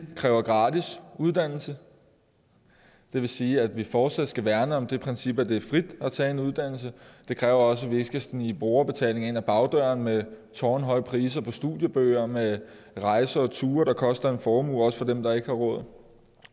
kræver gratis uddannelse det vil sige at vi fortsat skal værne om det princip at det er frit at tage en uddannelse det kræver også at vi ikke skal snige brugerbetaling ind ad bagdøren med tårnhøje priser på studiebøger med rejser og ture der koster en formue også for dem der ikke har råd